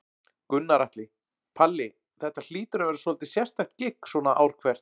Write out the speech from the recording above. Gunnar Atli: Palli, þetta hlýtur að vera svolítið sérstakt gigg svona ár hvert?